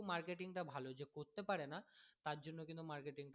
marketing তা ভালো যে করতে পারে না তারজন্য কিন্তু marketing টা